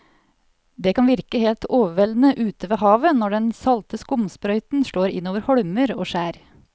Det kan virke helt overveldende ute ved havet når den salte skumsprøyten slår innover holmer og skjær.